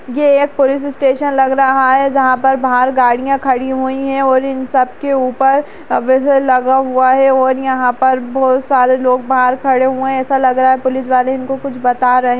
यह एक police station लग रहा है जहां पर बाहर गाड़ियां खड़ी हुई हैं और इन सब के ऊपर बजर लगा हुआ है और यहाँ पर बहोत सारे लोग बाहर खड़े हुए हैं ऐसा लग रहा है पुलिस वाले इनको कुछ बता रहें --